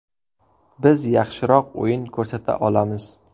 Biz yaxshiroq o‘yin ko‘rsata olamiz.